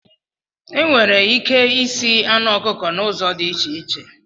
Enwere ike isi anụ ọkụkọ na ụzọ dị iche iche